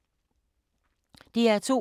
DR2